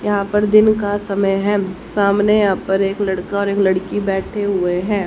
यहां पर दिन का समय है सामने यहां पर एक लड़का और एक लड़की बैठे हुए हैं।